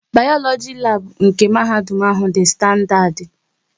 Bayoloji labu nke mahadum ahụ dị standadi